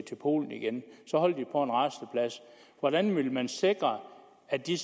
til polen igen hvordan vil man så sikre at de